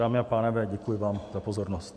Dámy a pánové, děkuji vám za pozornost.